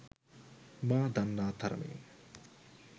මා දන්නා තරමින්